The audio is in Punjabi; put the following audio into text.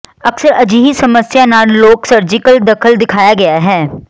ਅਕਸਰ ਅਜਿਹੇ ਸਮੱਸਿਆ ਨਾਲ ਲੋਕ ਸਰਜੀਕਲ ਦਖਲ ਦਿਖਾਇਆ ਗਿਆ ਹੈ